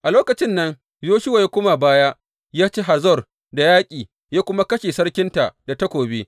A lokacin nan Yoshuwa ya koma da baya ya ci Hazor da yaƙi, ya kuma kashe sarkinta da takobi.